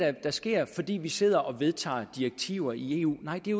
der sker fordi vi sidder og vedtager direktiver i eu nej det